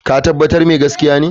Ka tabbata mai gaskiya ne?